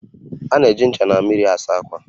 A na-eji ncha na mmiri asa ákwà